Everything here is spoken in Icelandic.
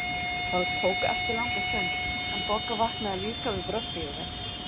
Það tók ekki langa stund, en Bogga vaknaði líka við bröltið í þeim.